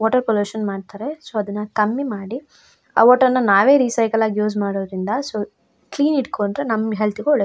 water pollution ಮಾಡ್ತಾರೆ so ಅದನ್ನ ಕಮ್ಮಿ ಮಾಡಿ ಆ ವಾಟರ್ ನ್ನ ನಾವೆ ರೀಸೈಕಲ್ ಆಗಿ ಯೂಸ್ ಮಾಡೋದ್ರಿಂದ ಸೊ ಕ್ಲೀನ್ ಇಟ್ಟ್ಕೊಂಡ್ರೆ ನಮ್ಮ್ ಹೆಲ್ತ್ ಗೆ ಒಳ್ಳೆ --